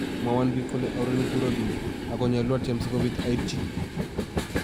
"Mwowon biik kole aurereni kou Robben, ago nyolu atyem si kobiit aityi."